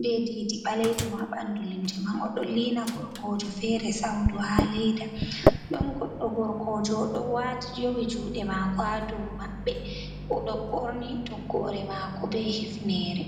be didi baleido ma ɓandu limse man o ɗon liina gorkojo fere saudu ha leda ɗon goɗɗo gorkojo oɗo wati yowi juɗe mako ha dow maɓɓe oɗo ɓorni toggore mako be hifnere.